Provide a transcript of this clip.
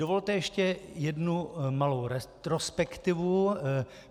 Dovolte ještě jednu malou retrospektivu.